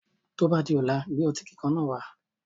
Tó bá di ọ̀la, gbé otí kíkan náà wá.